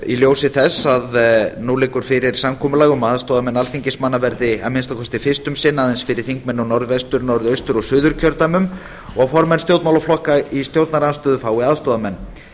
í ljósi þess að nú liggur fyrir samkomulag um að aðstoðarmenn alþingismanna verði að minnsta kosti fyrst um sinn aðeins fyrir þingmenn í norðvestur norðaustur og suðurkjördæmum og formenn stjórnmálaflokka í stjórnarandstöðu fái aðstoðarmenn